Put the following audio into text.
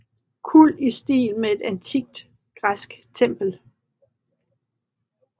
Kuld i stil med et antikt græsk tempel